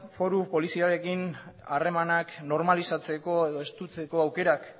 foru poliziarekin harremanak normalizatzeko edo estutzeko aukerak